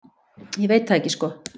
Ég veit það ekki sko.